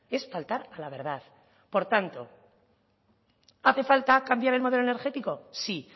es faltar a la verdad por tanto hace falta cambiar el modelo energético sí